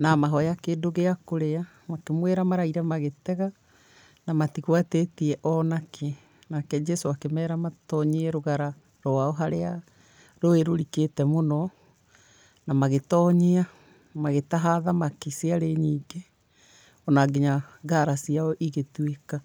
na amahoya kĩndũ gĩa kũrĩa, makĩmwĩra maraire magĩtega na matigwatĩtie ona kĩ. Nake Jesũ akĩmera matonyie rũgara rwao harĩa rũĩ rũrikĩte mũno, na magĩtonyia, magĩtaha thamaki ciarĩ nyingĩ, ona nginya ngara ciao igĩtuĩka.